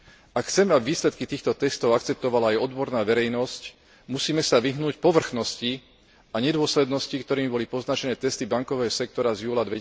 Ak chceme, aby výsledky týchto testov akceptovala aj odborná verejnosť, musíme sa vyhnúť povrchnosti a nedôslednosti, ktorými boli poznačené testy bankového sektora z júla